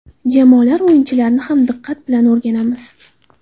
Jamoalar o‘yinchilarini ham diqqat bilan o‘rganamiz.